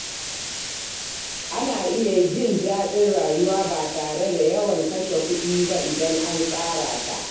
Ana iya jin daɗin rayuwa ba tare da yawan kashe kuɗi ba idan an tsara ta.